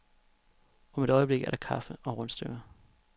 Om et øjeblik er der kaffe og rundstykker.